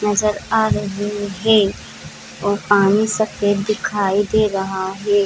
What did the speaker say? नजर आ रहे है और पानी सफ़ेद दिखाई दे रहा है।